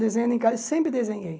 Desenhando em casa, sempre desenhei.